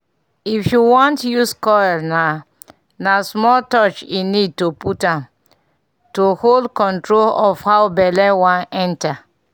if you want use coil na na small touch e need to put am-- to hold control of how belle wan enter